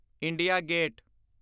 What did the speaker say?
India gate